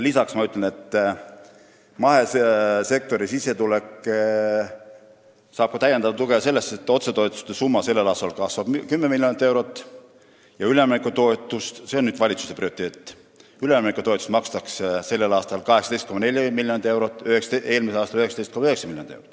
Lisaks ütlen, et mahesektor saab täiendavat tuge sellest, et sellel aastal kasvab otsetoetuste summa 10 miljonit eurot ja üleminekutoetust, mis on valitsuse prioriteet, makstakse 18,4 miljonit eurot .